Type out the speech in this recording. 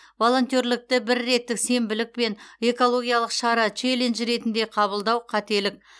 волонтерлікті бірреттік сенбілік пен экологиялық шара челлендж ретінде қабылдау қателік